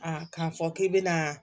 k'a fɔ k'i bɛna